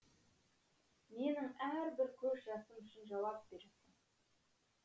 менің әрбір көз жасым үшін жауап бер